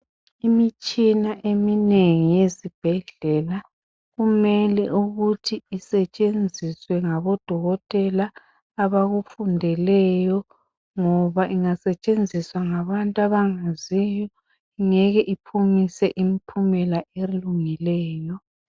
Imitshina eminengi yezibhedlela kumele ukuthi isetshenziswe ngabodokotela abakufundeleyo ngoba ingasetshenziswa ngabantu abangaziyo ngeke iphumise impumela elungileyo.